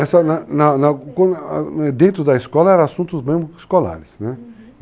dentro da escola eram assuntos mesmo escolares, né? Uhum.